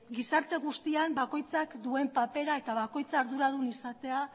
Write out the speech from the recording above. gizarte guztian bakoitzak duen papera eta bakoitza arduradun izatea